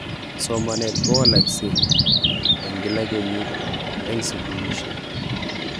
Somanet kowaleksei eng kila kenyit eng sukulishek.